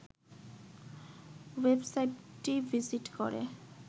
ওয়েবসাইটটি ভিজিট করে